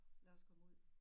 Lad os komme ud